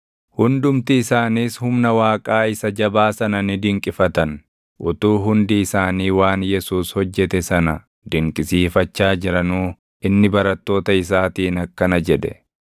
Hundumti isaaniis humna Waaqaa isa jabaa sana ni dinqifatan. Utuu hundi isaanii waan Yesuus hojjete sana dinqisiifachaa jiranuu inni barattoota isaatiin akkana jedhe;